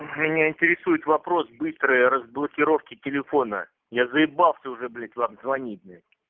меня интересует вопрос быстрой разблокировки телефона я заебался уже блять вам звонить блять